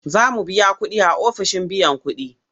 Za mu biya kuɗi a ofishin biyan kuɗi.